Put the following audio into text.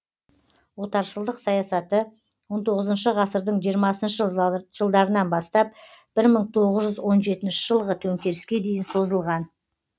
отаршылдық саясаты он тоғызыншы ғасырдың жиырмасыншы жылдарынан бастап ір мың тоғыз жүз он жетінші жылғы төнкеріске дейін созылған